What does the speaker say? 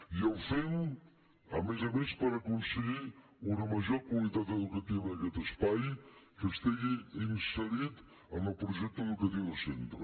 i el fem a més a més per aconseguir una major qualitat educativa d’aquest espai que estigui inserit en el projecte educatiu de centre